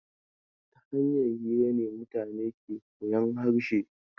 Ta hanyar hira ne mutane ke koyan harshe.